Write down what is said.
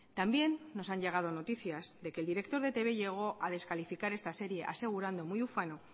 también nos han llegado noticias de que el director de etb llegó a descalificar esta serie asegurando muy ufano